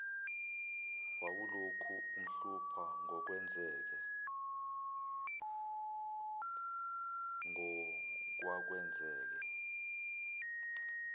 wawulokhu umhlupha ngokwakwenzeke